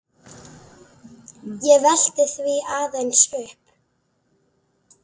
Ég velti því aðeins upp.